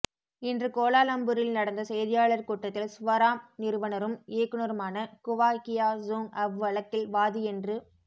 இன்று கோலாலம்பூரில் நடந்த செய்தியாளர் கூட்டத்தில் சுவாராம் நிறுவனரும் இயக்குனருமான குவா கியா சூங் அவ்வழக்கில் வாதி என்று